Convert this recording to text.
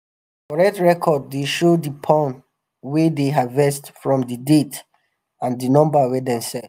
correct record dey um show di pond wey dem harvest from di date and di number wey dem sell.